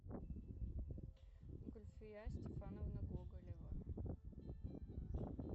гульфия степановна гоголева